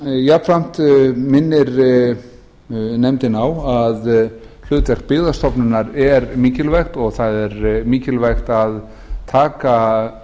jafnframt minnir nefndin á að hlutverk byggðastofnunar er mikilvægt og það er mikilvægt að taka